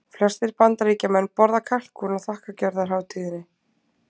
Flestir Bandaríkjamenn borða kalkún á þakkargjörðarhátíðinni.